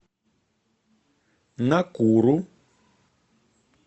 накуру